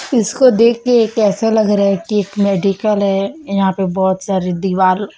इसको देखके कैसा लग रहा है कि एक मेडिकल है यहां पे बहोत सारी दिवाल --